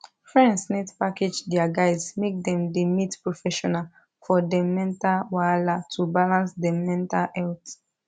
friends need package dia guys make dem da meet professional for dem mental wahala to balance dem mental health